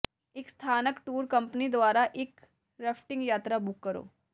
ਇੱਕ ਸਥਾਨਕ tour company ਦੁਆਰਾ ਇੱਕ ਰਫਟਿੰਗ ਯਾਤਰਾ ਬੁੱਕ ਕਰੋ